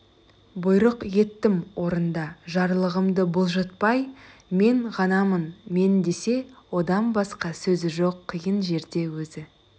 бұйрық еттім орында жарлығымды бұлжытпай мен ғанамын мен десе одан басқа сөзі жоқ қиын жерде өзі